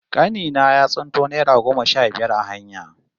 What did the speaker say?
Kani na ya tsinto naira goma sha biyar a hanya